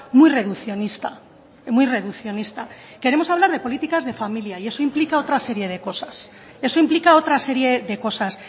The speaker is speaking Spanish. muy reduccionista muy reduccionista queremos hablar de políticas de familia y eso implica otra serie de cosas eso implica otra serie de cosas